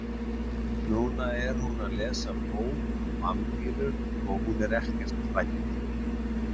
Núna er hún að lesa bók um vampírur og hún er ekkert hrædd.